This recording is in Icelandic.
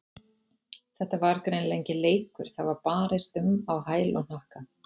Þetta var greinilega enginn leikur, það var barist um á hæl og hnakka.